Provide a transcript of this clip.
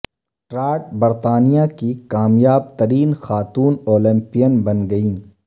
Trott برطانیہ کی کامیاب ترین خاتون اولمپیئین بن گئیں